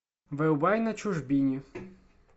врубай на чужбине